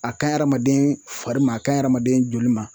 A ka ɲi hadamaden fari ma a kaɲi hadamaden joli ma